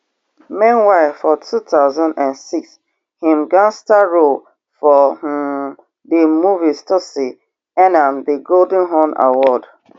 meanwhile for two thousand and six im gangster role for um di movie tsotsi earn am di golden horn award